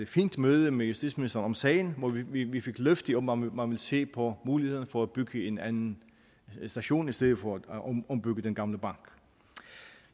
fint møde med justitsministeren om sagen hvor vi vi fik løfte om om at man vil se på mulighederne for at bygge en anden station i stedet for at ombygge den gamle bank